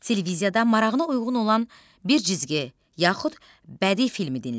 Televiziyada marağına uyğun olan bir cizgi yaxud bədii filmi dinlə.